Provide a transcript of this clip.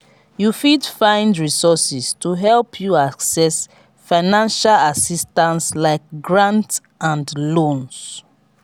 you fit find resources to help you access financial assistance like grant and loans.